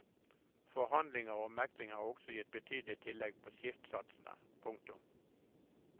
Forhandlinger og megling har også gitt betydelige tillegg på skiftsatsene. punktum